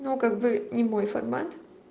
ну как бы не мой формат